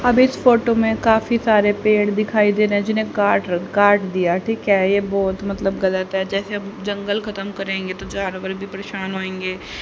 अब इस फोटो में काफी सारे पेड़ दिखाई दे रहे है जीने काट रखा काट दिया ठीक है ये बहोत मतलब गलत है जैसे जंगल खत्म करेंगे तो जानवर भी परेशान होयेंगे।